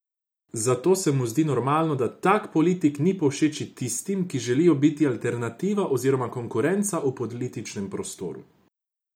Zato se mu zdi normalno, da tak politik ni povšeči tistim, ki želijo biti alternativa oziroma konkurenca v političnem prostoru.